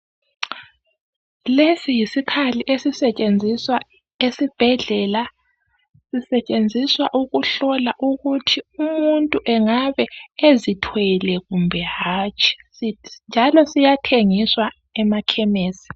Lesi yisikhali esisentshenziswa esibhedlela, sisentshenziswa ukuhlola ukuthi umuntu engabe ezithwele kumbe hatshi. Njalo siyathengiswa emakhemisi.